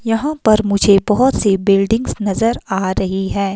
यहाँ पर मुझे बहुत सी बिल्डिंग्स नजर आ रही हैं।